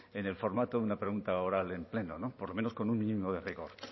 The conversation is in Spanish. en el formato una pregunta oral en pleno no por lo menos con un mínimo de rigor